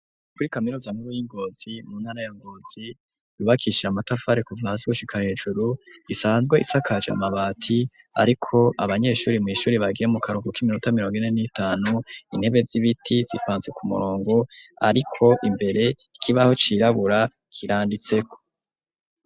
Kuri kaminuza nkuru y'i Ngozi yubakishije amatafari kuva hasi gushika hejuru, isanzwe isakaje amabati. Ariko abanyeshuri kw'ishure bagiye mukaruhuko k'iminota mirongo ine n'itanu, intebe z'ibiti zipanze ku murongo ariko imbere ikibaho cirabura kiranditseko.